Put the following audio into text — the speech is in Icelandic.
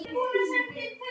Faðir minn kær.